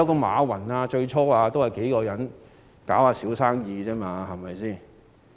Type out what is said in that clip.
馬雲最初也是與數人經營小生意。